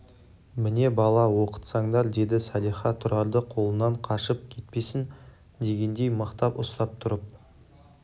міне бала оқытсаңдар деді салиха тұрарды қолынан қашып кетпесін дегендей мықтап ұстап тұрып